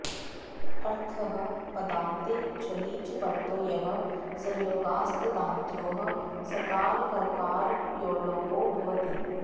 अर्थः पदान्ते झलि च परतो यः संयोगास्तदाद्योः सकारककारयोर्लोपो भवति